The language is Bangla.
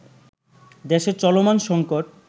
দেশের চলমান সঙ্কট